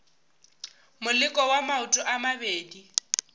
moleko wa maoto a mabedi